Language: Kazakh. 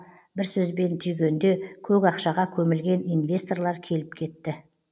бір сөзбен түйгенде көк ақшаға көмілген инвесторлар келіп кетті